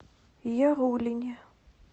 яруллине